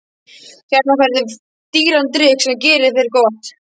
Hérna færðu dýran drykk sem gerir þér gott.